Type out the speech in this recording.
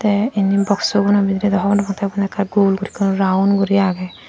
tey endi boxsun bidirey dw hobor naw pang tey undi ekkan gul gori round gori agey.